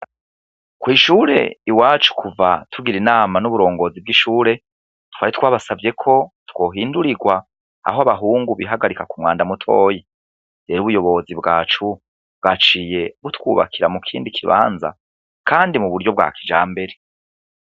Kwishure iwacu kuva tugira inama nuburongozi bwishure twari twabasavye ko twohindurirwa aho abahungu bihagarika kumwanda mutoya rero ubuyobozi bwacu bwaciye butwubakira mukindi kibanza kandi muburyo bwa kijambere